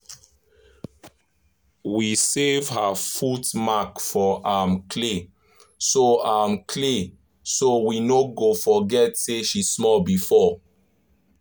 we save her foot mark for um clay so um clay so we no go forget say she small before